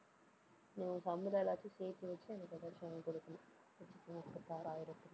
நீ உன் சம்பளம் எல்லாத்தையும் சேர்த்து வச்சு, எனக்கு ஏதாச்சும் வாங்கி கொடுக்கணும் ஒரு லட்சத்தி முப்பத்தி ஆறாயிரத்துல